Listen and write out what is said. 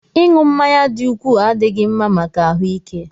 Ịṅụ mmanya dị ukwuu adịghị mma maka ahụ ike